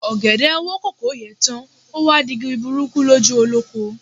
Ọ̀gẹ̀dẹ̀ wo kòkó yè tán, o wá di igi burúkú lójú olóko.